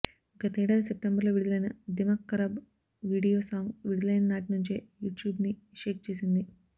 గతేడాది సెప్టెంబర్లో విడుదలైన దిమాక్ ఖరాబ్ వీడియో సాంగ్ విడుదలైన నాటి నుంచే యూట్యూబ్ని షేక్ చేసింది